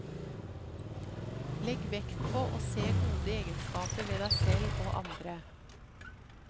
Legg vekt på å se gode egenskaper ved deg selv og andre.